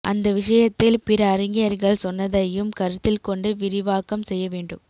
அந்த விஷயத்தில் பிற அறிஞர்கள் சொன்னதையும் கருத்தில் கொண்டு விரிவாக்கம் செய்யவேண்டும்